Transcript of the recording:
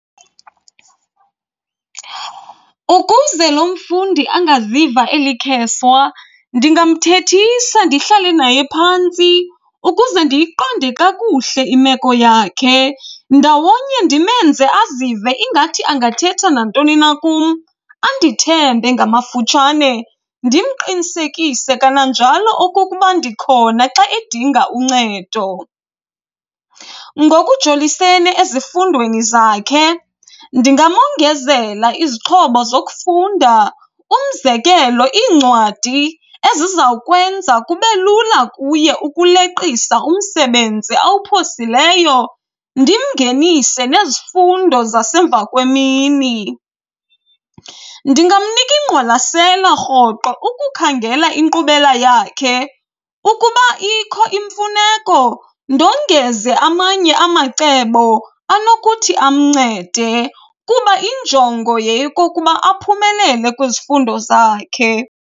Ukuze lo mfundi angaziva elikheswa ndingamthethisa ndihlale naye phantsi ukuze ndiyiqonde kakuhle imeko yakhe ndawonye ndimenze azive ingathi angathetha nantoni na kum, andithembe ngamafutshane. Ndimqinisekise kananjalo okokuba ndikhona xa edinga uncedo. Ngokujolisene ezifundweni zakhe, ndingamongezela izixhobo zokufunda. Umzekelo, iincwadi ezizawukwenza kube lula kuye ukuleqisa umsebenzi awuphosileyo, ndimngenise nezifundo zasemva kwemini. Ndingamnika ingqwalasela rhoqo ukukhangela inkqubela yakhe, ukuba ikho imfuneko, ndongeze amanye amacebo anokuthi amncede kuba injongo yeyokokuba aphumelele kwizifundo zakhe.